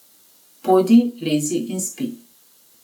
Pojdi, lezi in spi.